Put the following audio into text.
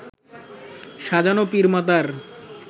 সাজানো পীর মাতার